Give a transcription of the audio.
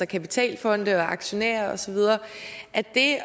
kapitalfonde og aktionærer osv at det at